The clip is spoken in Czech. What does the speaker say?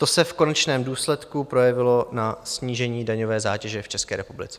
To se v konečném důsledku projevilo na snížení daňové zátěže v České republice.